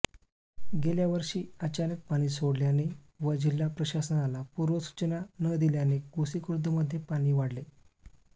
गेल्यावर्षी अचानक पाणी सोडल्याने व जिल्हा प्रशासनाला पूर्व सूचना न दिल्याने गोसीखुर्दमध्ये पाणी वाढले